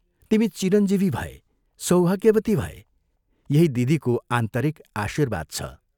तिमी चिरञ्जीवी भए सौभाग्यवती भए यही दिदीको आन्तरिक आशीर्वाद छ।